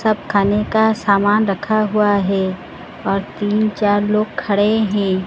सब खाने का सामान रखा हुआ है और तीन चार लोग खडे है।